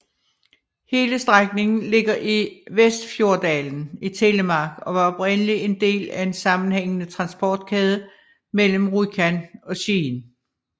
Hele strækningen ligger i Vestfjorddalen i Telemark og var oprindeligt en del af en sammenhængende transportkæde mellem Rjukan og Skien